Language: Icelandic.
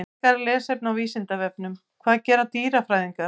Frekara lesefni á Vísindavefnum: Hvað gera dýrafræðingar?